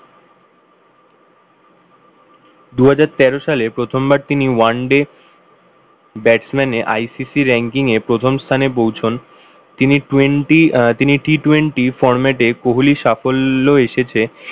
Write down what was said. দুহাজার তেরো সালে প্রথমবার তিনি oneday batsman এ ICC ranking এ প্রথম স্থানে পৌঁছন তিনি twenty আহ তিনি T twenty format এ কোহলি সাফল্য এসেছে